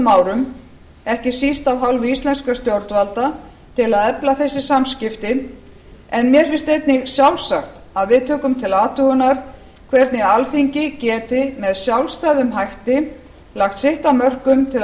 árum ekki síst af hálfu íslenskra stjórnvalda til að efla þessi samskipti en mér finnst einnig sjálfsagt að við tökum til athugunar hvernig alþingi geti með sjálfstæðum hætti lagt sitt af mörkum til